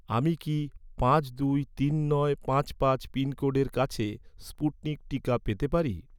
আমি কি পাঁচ দুই তিন নয় পাঁচ পাঁচ পিনকোডের কাছে স্পুটনিক টিকা পেতে পারি?